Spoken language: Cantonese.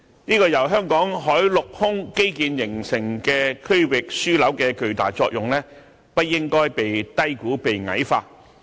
這個由香港海陸空基建形成的區域樞紐的巨大作用，不應該被低估和矮化。